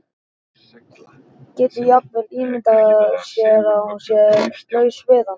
Getur jafnvel ímyndað sér að hún sé laus við hann.